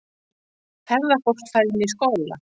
Ferðafólk fær inni í skóla